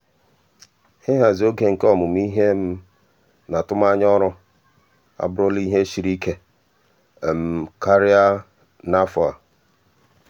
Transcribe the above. ịhazi oge nke onwe m na atụmanya ọrụ abụrụla ihe siri ike karịa n'afọ karịa n'afọ a.